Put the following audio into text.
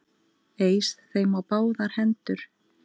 Eys þeim á báðar hendur!